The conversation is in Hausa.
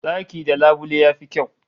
Daki da labule yafi kyau